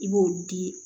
I b'o di